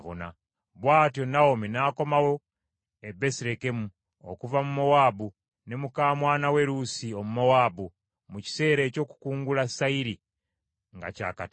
Bw’atyo Nawomi n’akomawo e Besirekemu, okuva mu Mowaabu ne muka mwana we Luusi Omumowaabu, mu kiseera eky’okukungula sayiri nga kyakatandika.